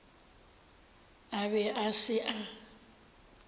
a be a se a